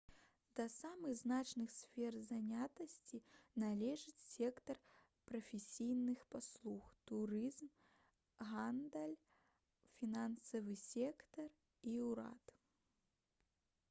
да самых значных сфер занятасці належыць сектар прафесійных паслуг турызм гандаль фінансавы сектар і ўрад